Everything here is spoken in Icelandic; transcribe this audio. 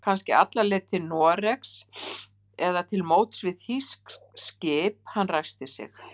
Kannski alla leið til Noregs eða til móts við þýskt skip. Hann ræskti sig.